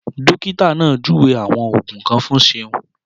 Dókítà náà júwe àwọn Ògùn kan fún Seun